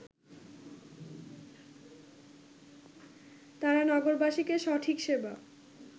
তারা নগরবাসীকে সঠিক সেবা